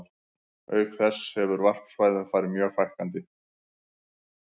Auk þess hefur varpsvæðum farið mjög fækkandi.